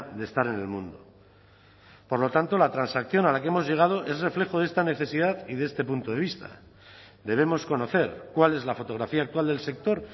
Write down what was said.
de estar en el mundo por lo tanto la transacción a la que hemos llegado es reflejo de esta necesidad y de este punto de vista debemos conocer cuál es la fotografía actual del sector